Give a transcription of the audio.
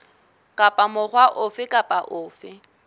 kapa mokga ofe kapa ofe